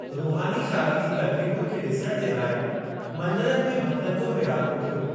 रुहानी शादी जी तक़रीबुनि खे डि॒सणु जे लाइ मंदिरनि में भॻतनि जो मेड़ाको थियो।